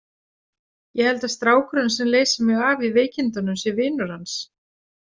Ég held að strákurinn sem leysir mig af í veikindunum sé vinur hans.